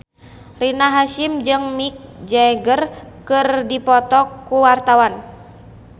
Rina Hasyim jeung Mick Jagger keur dipoto ku wartawan